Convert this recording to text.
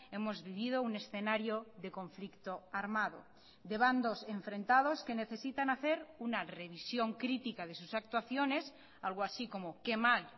hemos vivido un escenario de conflicto armado de bandos enfrentados que necesitan hacer una revisión crítica de sus actuaciones algo así como qué mal